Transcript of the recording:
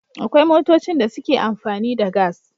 Akwai motocin da suke amfani da gas